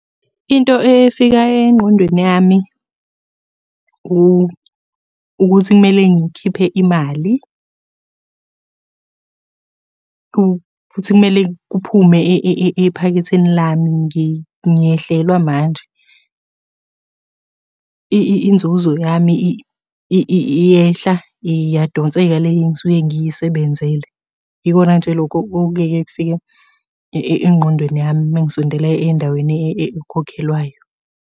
Into efika engqondweni yami ukuthi kumele ngikhiphe imali, futhi kumele kuphume ephaketheni lami, ngiyehlelwa manje. Inzuzo yami iyehla iyadonseka le engisuke ngiyisebenzele. Yikona nje lokho okuyeke kufike engqondweni yami uma ngisondela endaweni ekhokhelwayo.